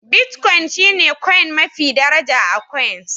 Bitcoin shine coin mafi daraja a coins